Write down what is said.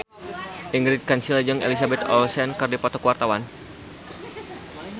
Ingrid Kansil jeung Elizabeth Olsen keur dipoto ku wartawan